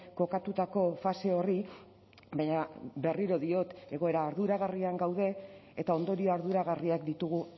kokatutako fase horri baina berriro diot egoera arduragarrian gaude eta ondorio arduragarriak ditugu